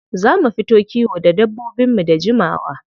Za mu fita kiwo da dabbobinmu da jimawa.